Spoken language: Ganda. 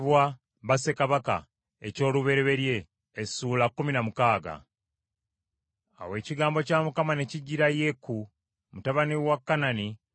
Awo ekigambo kya Mukama ne kijjira Yeeku mutabani wa Kanani nga kyogera ku Baasa nti,